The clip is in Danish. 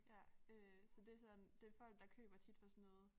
Ja øh så det sådan det folk der køber tit fra sådan noget